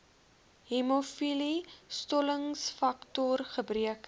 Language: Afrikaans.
hemofilie stollingsfaktor gebreke